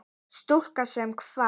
Stúlka sem kvað.